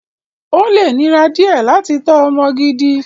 Ó lè nira díẹ̀ láti tọ́ ọmọ gidi.